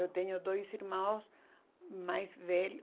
Eu tenho dois irmãos mais velhos.